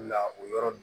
Na o yɔrɔ